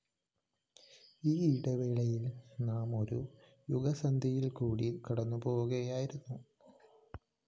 ഈ ഇടവേളയില്‍ നാം ഒരു യുഗസന്ധ്യയില്‍ക്കൂടി കടന്നുപോകുകയായിരുന്നു